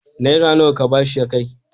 Naira nawa ka ba shi ya kai?